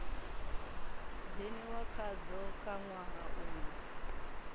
dzheniwa khadzo kha ṅwaha uyo